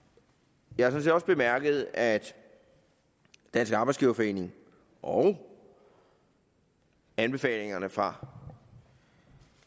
jeg har sådan set også bemærket at dansk arbejdsgiverforening og anbefalingerne fra